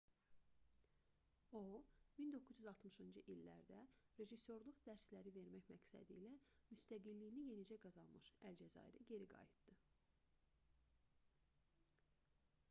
o 1960-cı illərdə rejissorluq dərsləri vermək məqsədilə müstəqilliyini yenicə qazanmış əlcəzairə geri qayıtdı